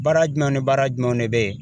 Baara jumɛn ni baara jumɛnw de bɛ yen